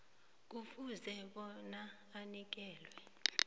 kufuze bona anikelwe